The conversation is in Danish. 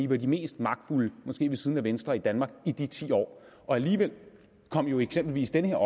var de mest magtfulde måske ved siden af venstre i danmark i de ti år og alligevel kom jo eksempelvis den her